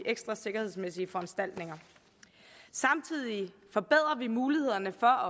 ekstra sikkerhedsmæssige foranstaltninger samtidig forbedrer vi mulighederne for